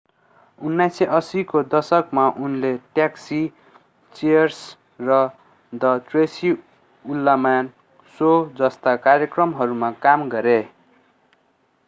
1980 को दशकमा उनले ट्याक्सी चीयर्स र the tracy ullman शो जस्ता कार्यक्रमहरूमा काम गरे